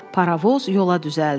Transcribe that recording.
Parovoz yola düzəldi.